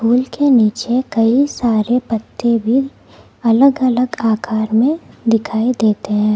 फूल के नीचे कई सारे पत्ते भी अलग अलग आकार में दिखाई देते हैं।